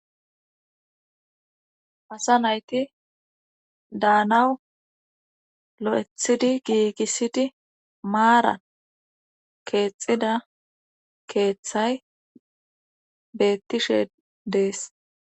asa nayti daanawu lo7ethidi giigissidi maara keexxida keeththay beettishe dees.